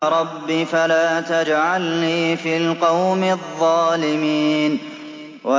رَبِّ فَلَا تَجْعَلْنِي فِي الْقَوْمِ الظَّالِمِينَ